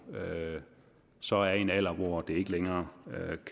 så har en alder hvor det ikke længere